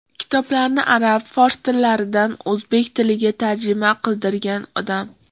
Kitoblarni arab, fors tillaridan o‘zbek tiliga tarjima qildirgan odam.